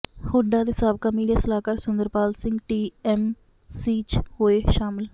ਹੁੱਡਾ ਦੇ ਸਾਬਕਾ ਮੀਡੀਆ ਸਲਾਹਕਾਰ Sunder Pal Singh T M C ਚ ਹੋਏ ਸ਼ਾਮਲ